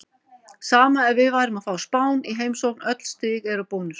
Sama ef við værum að fá Spán í heimsókn, öll stig eru bónus.